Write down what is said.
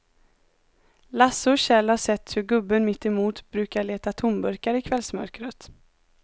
Lasse och Kjell har sett hur gubben mittemot brukar leta tomburkar i kvällsmörkret.